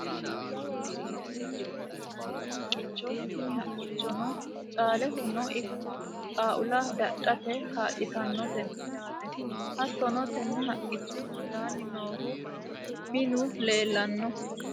jawa waaddichote yinanni haqqichoti tini haqqichono caalehono ikko, xaaula dadhate kaa'litannote yaate, hattono tenne haqqicho hundaanni noohu minu leelanno .